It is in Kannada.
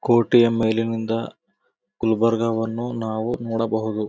ಕೋಟೆಯ ಮೇಲಿನಿಂದ ಗುಲ್ಬರ್ಗ ವನ್ನು ನಾವು ನೋಡಬಹುದು.